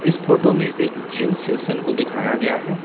इस फोटो में एक जिम सेशन को दिखाया गया है।